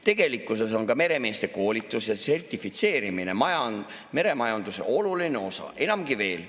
Tegelikkuses on ka meremeeste koolituse sertifitseerimine meremajanduse oluline osa, enamgi veel.